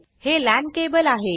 हे LANल्यान केबल आहे